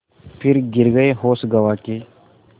फिर गिर गये होश गँवा के